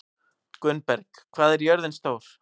Gunnberg, hvað er jörðin stór?